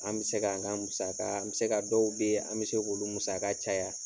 An mi se ka an ka musaka, an mi se ka dɔw be yen, an mi se ka olu musaka caya.